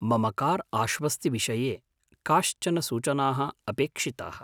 मम कार् आश्वस्तिविषये काश्चन सूचनाः अपेक्षिताः।